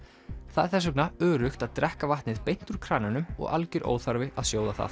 það er þess vegna öruggt að drekka vatnið beint úr krananum og algjör óþarfi að sjóða það